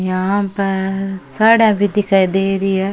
यहाँ पर साड़िया भी दिखाई दे रही है।